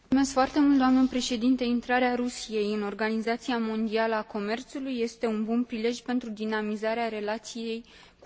Intrarea Rusiei în Organizația Mondială a Comerțului este un bun prilej pentru dinamizarea relației cu Uniunea Europeană.